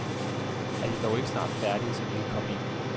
Er de dog ikke snart færdige, så vi kan komme ind?